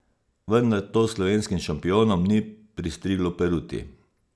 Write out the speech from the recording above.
Vendar to slovenskim šampionom ni pristriglo peruti.